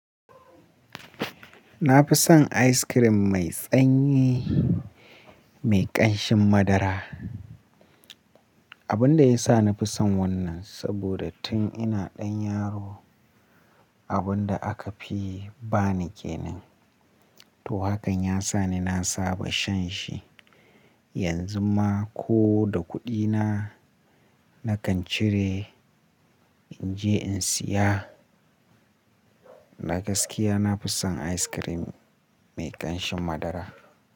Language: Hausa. Na fi son ice cream mai tsanyi mai ƙanshin madara. Abun da ya sa na fi son wannan, saboda tun ina ɗan yaro abun da aka fi ba ni kenan. To hakan ya sa ni na saba shan shi. Yanzu ma ko da kuɗina nakan cire in je in siya. Na gaskiya na fi son ice cream mai ƙanshin madara.